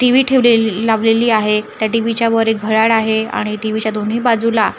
TV ठेवलेल लावलेली आहे त्या टी_व्हीच्या वर एक घड्याळ आहे आणि टी_व्हीच्या दोन्ही बाजूला